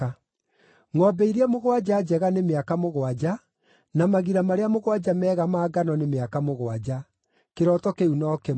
Ngʼombe iria mũgwanja njega nĩ mĩaka mũgwanja, na magira marĩa mũgwanja mega ma ngano nĩ mĩaka mũgwanja; kĩroto kĩu no kĩmwe.